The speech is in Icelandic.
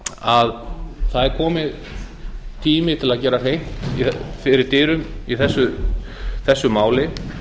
að það er kominn tími til að gera hreint fyrir dyrum í þessu máli